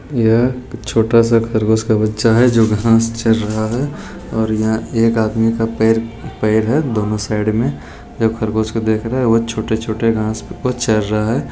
यह छोटा सा खरगोश का बच्चा है जो घास चर रहा है और यहां एक आदमी का पै-पैर है दोनों साइड में जो खरगोश को देख रहा है वो छोटे-छोटे घासों को चर रहा है।